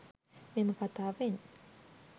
මෙම කථාවෙන්